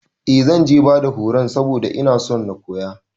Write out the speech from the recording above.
Eh zanje bada horun saboda inason na koya